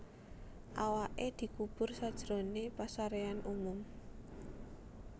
Awaké dikubur sajroné pasaréan umum